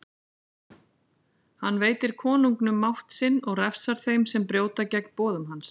Hann veitir konungum mátt sinn og refsar þeim sem brjóta gegn boðum hans.